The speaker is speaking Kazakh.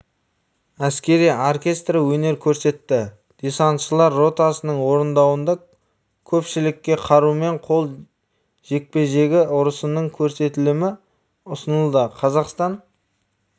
әскери оркестрі өнер көрсетті десантшылар ротасының орындауында көпшілікке қарумен қол жекпе-жегі ұрысының көрсетілімі ұсынылды қазақстан